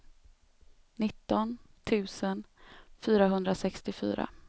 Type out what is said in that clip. nitton tusen fyrahundrasextiofyra